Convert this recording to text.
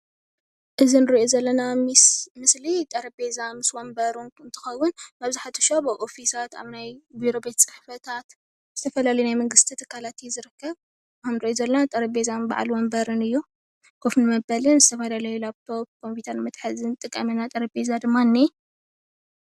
እዚ እንሪኦ ዘለና ምስሊ ጠረጰዛ ምስ ወንበሩ እንትከውን መብዛሕትኡ ግዝ ኣብ ኣብ ኦፊሳት ናይ ቢሮ ቤት ፅሕፈታት ዝተፈላለየ ናይ መንግስቲ ትካል እዩ ዝርከብ፡፡ እዚ እንሪኦ ዘለና ጠረፕዛን በዓል ወንበርብን እዩ፡፡ ኮፍ መብልን ዝተፈላለዩ ላፕ ቶፕ ንኮፕዩተር መትሓዝን ንጥቀም ኢና፡፡ ጠረጰዛ ድማ